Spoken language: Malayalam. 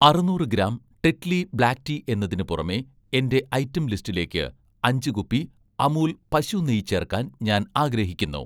അറുനൂറ് ഗ്രാം 'ടെറ്റ്ലി' ബ്ലാക്ക് ടീ എന്നതിന് പുറമെ എന്‍റെ ഐറ്റം ലിസ്റ്റിലേക്ക് അഞ്ച് കുപ്പി 'അമുൽ' പശു നെയ്യ് ചേർക്കാൻ ഞാൻ ആഗ്രഹിക്കുന്നു